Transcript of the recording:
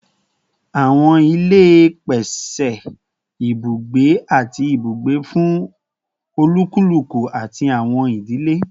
Awọn ile pese ibugbe ati ibugbe fun olukuluku ati awọn idile